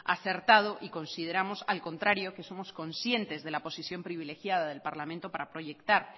acertado y consideramos al contrario que somos conscientes de la posición privilegiada del parlamento para proyectar